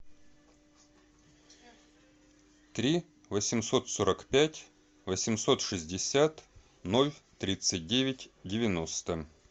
три восемьсот сорок пять восемьсот шестьдесят ноль тридцать девять девяносто